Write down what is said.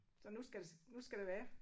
Så nu skal det nu skal det være